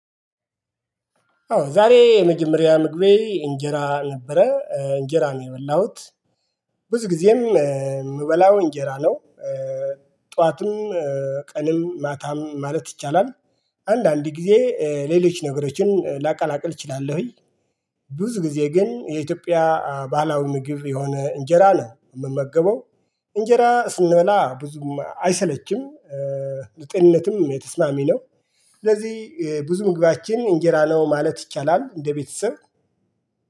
አዎ ዛሬ የመጀመሪያ ምግቤ እንጀራ ነበረ እንጀራ ነው የበላሁት ብዙ ጊዜም የምበላው እንጀራ ነው። ጠዋትም ቀንም ማታም ማለት ይቻላል። አንዳንድ ጊዜ ሌሎች ነገሮችን ላቀላቅል እችላለሁኝ። ብዙ ጊዜ ግን የኢትዮጵያ ባህላዊ ምግብ የሆነ እንጀራ ነው የምመገበው። እንጀራ ስንበላ ብዙም አይሰለችም። ጤንነትም የተስማሚ ነው። ስለዚህ ብዙ ምግባችን እንጀራ ነው ማለት ይቻላል። እንደ ቤተሰብ